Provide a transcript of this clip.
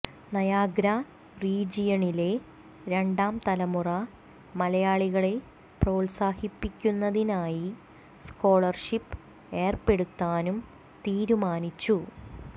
Niagara റീജിയണിലെ രണ്ടാം തലമുറ മലയാളികളെ പ്രോത്സാഹിപ്പിക്കുന്നതിനായി സ്കോളർഷിപ് ഏർപ്പെടുത്താനും തീരുമാനിച്ചു